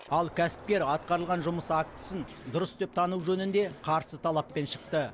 ал кәсіпкер атқарылған жұмыс актісін дұрыс деп тану жөнінде қарсы талаппен шықты